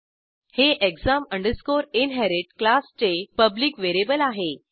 हे exam inherit क्लासचे public variable आहे